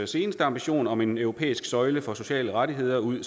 seneste ambition om en europæisk søjle for sociale rettigheder ud